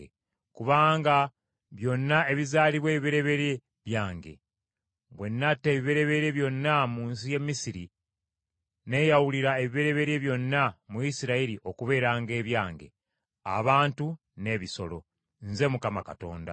kubanga byonna ebizaalibwa ebibereberye byange. Bwe natta ebibereberye byonna mu nsi y’e Misiri neeyawulira ebibereberye byonna mu Isirayiri okubeeranga ebyange, abantu n’ebisolo. Nze Mukama Katonda.”